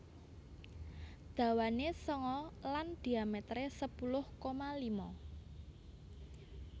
Dawane sanga lan dhiametere sepuluh koma lima